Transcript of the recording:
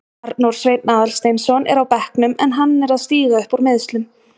Arnór Sveinn Aðalsteinsson er á bekknum en hann er að stíga upp úr meiðslum.